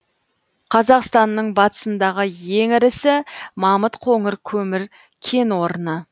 қазақстанның батысындағы ең ірісі мамыт қоңыр көмір кен орны